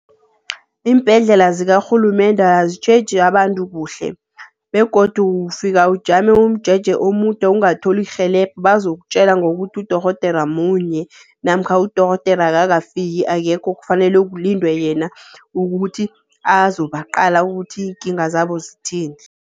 Iimbhedlela zikarhulumende azitjheji abantu kuhle. Begodu ufika ujame umjeje omude ungatholi irhelebho. Bazokutjela ngokuthi udorhodera munye namkha udorhodera akakafiki, akekho. Kufanele kulindwe yena ukuthi azobaqala ukuthi iikinga zabo zithini.